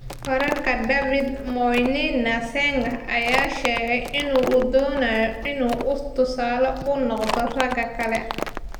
Wararka David Moinina Sengeh ayaa sheegay in uu doonayo in uu tusaale u noqdo ragga kale.